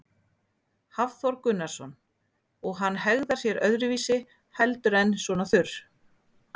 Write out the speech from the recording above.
Hafþór Gunnarsson: Og hann hegðar sér öðruvísi heldur en svona þurr?